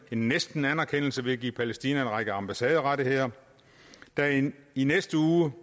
næsten anerkendelse ved at give palæstina en række ambassaderettigheder i næste uge